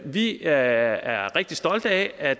vi er er rigtig stolte af at